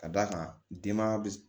Ka d'a kan denbaya bɛ